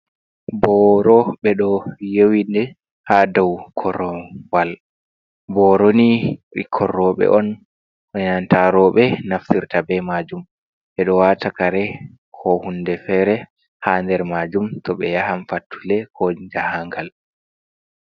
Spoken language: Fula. Booro ɓe ɗo yowi nde haa daw korowal, booro ni ɓikkon roobe on enanta rooɓe on naftirta bee maajum to ɓe ɗo waata kare koo huunde feere haa nder maajum to ɓe yahan fattude koo jahaangal.